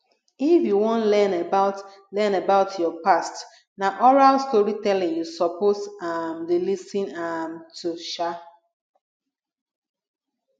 if you wan learn about learn about your past na oral storytelling you suppose um dey lis ten um to um